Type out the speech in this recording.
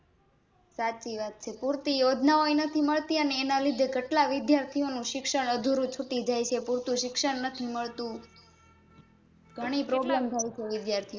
સાચી વાત છે પુરતી યોજના ઓજ નથી મળતી એના લીધે કેટલા વિદ્યાર્થીઓંનું શિક્ષણ અધૂરું છૂટી જાય છે પુરતું શિક્ષણ નથી મળતું ગણી Problem થાય છે વિદ્યાર્થીઓંને